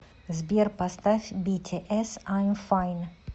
сбер поставь битиэс айм файн